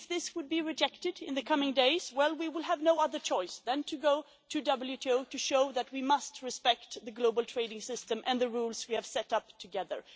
If this were rejected in the coming days, we would have no other choice than to go to the WTO to show that we must respect the global trading system and the rules we have set up together.